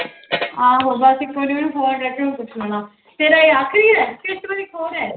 ਆਹੋ ਬਸ ਇੱਕ ਵਾਰੀ ਉਹਨੂੰ phone ਕਰਕੇ ਉਹਨੂੰ ਪੁੱਛ ਲੈਣਾ, ਤੇਰਾ ਇਹ ਆਖ਼ਰੀ ਹੈ ਕਿ ਇੱਕ ਵਾਰੀ ਹੋਰ ਹੈ?